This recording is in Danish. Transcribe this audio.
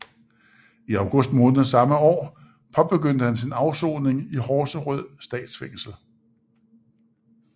I august måned samme år påbegyndte han sin afsoning i Horserød Statsfængsel